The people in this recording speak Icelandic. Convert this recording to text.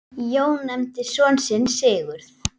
Jón nefndi son sinn Sigurð.